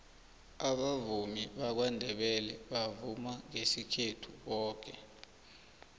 abavumi bakwandebele bavuma ngesikhethu boke